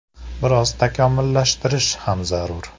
Biroz takomillashtirish ham zarur.